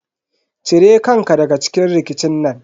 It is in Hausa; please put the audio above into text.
Ci re kan ka daga cikin rikicin nan.